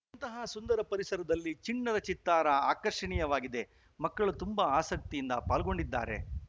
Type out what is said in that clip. ಇಂತಹ ಸುಂದರ ಪರಿಸರದಲ್ಲಿ ಚಿಣ್ಣರ ಚಿತ್ತಾರ ಆಕರ್ಷಣೀಯವಾಗಿದೆ ಮಕ್ಕಳು ತುಂಬಾ ಆಸಕ್ತಿಯಿಂದ ಪಾಲ್ಗೊಂಡಿದ್ದಾರೆ